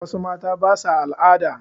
Wassu mata basa al'ada